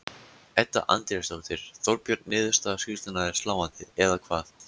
Edda Andrésdóttir: Þorbjörn, niðurstöður skýrslunnar eru sláandi, eða hvað?